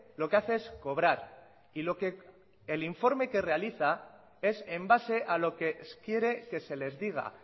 lo que hace es cobrar y lo que el informe que realiza es en base a lo que quiere que se les diga